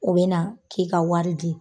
O bɛ na k'i ka wari di.